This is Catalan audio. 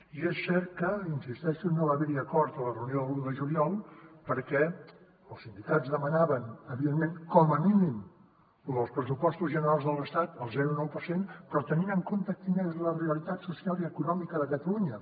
i és cert que hi insisteixo no va haverhi acord a la reunió de l’un de juliol perquè els sindicats demanaven evidentment com a mínim lo del pressupostos generals de l’estat el zero coma nou per cent però tenint en compte quina és la realitat social i econòmica de catalunya